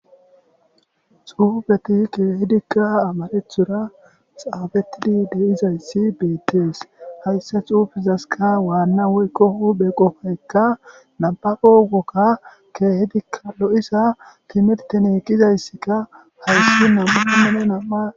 Xufeti keehidika amarathora xaafetid de'izays betes, haysa xuufezaska Wana woyko huphe qopayka nababo woga keehidika lo'za timiretn gizayska hays nam'u nam'a